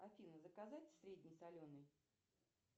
афина заказать средний соленый